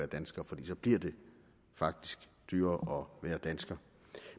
dansker for så bliver det faktisk dyrere at være dansker